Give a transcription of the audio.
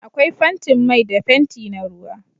Akwai fentin mai da fenti na ruwa